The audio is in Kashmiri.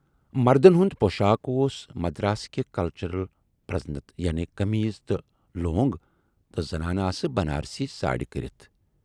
مردن ہُند پۅشاکھ اوس مدارسکہِ کلچرٕچ پرزنتھ یعنے قمیٖض تہٕ لوٗنگ تہٕ زنانہٕ آسہٕ بنارسی ساڑھۍ کٔرِتھ۔